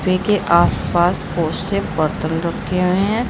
सोफे के आसपास बहोत से बर्तन रखे हुए हैं।